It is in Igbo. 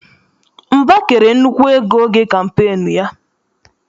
Mba kere nnukwu ego oge kampeenu ya.